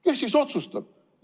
Kes siis otsustab?